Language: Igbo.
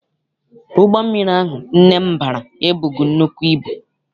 Ụgbọ mmiri ahụ nne m bara ebughị nnukwu ibu.